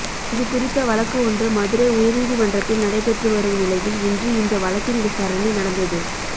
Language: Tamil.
இதுகுறித்த வழக்கு ஒன்று மதுரை உயர்நீதிமன்றத்தில் நடைபெற்று வரும் நிலையில் இன்று இந்த வழக்கின் விசாரணை நடந்தது